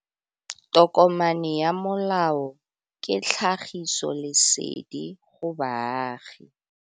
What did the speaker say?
Tokomane ya molao ke tlhagisi lesedi go baagi.